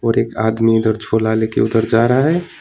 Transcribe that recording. और एक आदमी छोला लेके उधर जा रहा है।